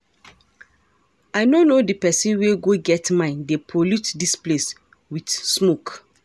I no know the person wey go get mind dey pollute dis place with smoke